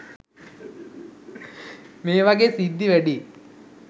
මේ වගේ සිද්ධි වැඩියි.